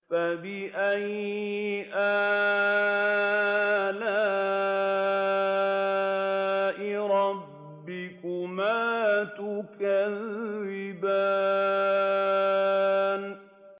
فَبِأَيِّ آلَاءِ رَبِّكُمَا تُكَذِّبَانِ